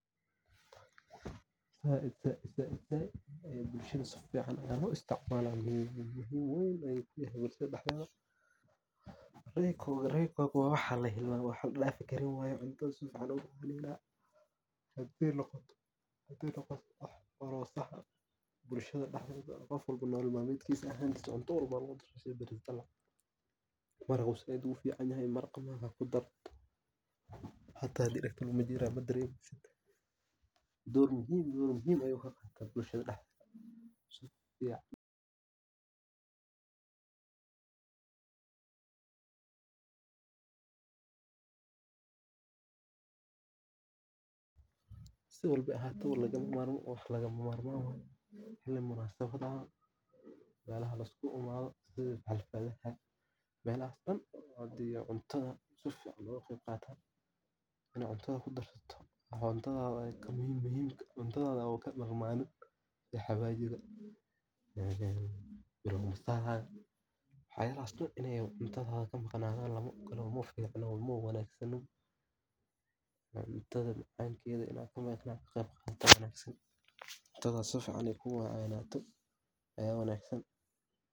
Said said aya bulshaada loga isticmala waxan oo lagu daro baris dalaca aad ito aad an ufican yahay maraqa aya lagu darsadha melaha laskugu imadho aya laga helasaid ayu ufican yahay wana shey dadka ee aad u jecelyihin marki cuntadha lagu daro caraftiss waa said daid ayan aniga ujeclahay cuntaadha lagu daro sas ayan u arki haya.